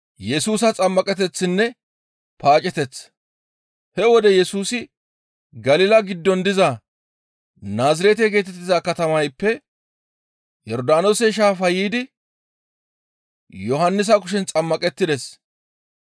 He wode Yesusi Galila giddon diza Naazirete geetettiza katamayppe Yordaanoose Shaafa yiidi Yohannisa kushen xammaqettides.